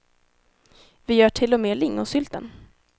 Vi gör till och med lingonsylten.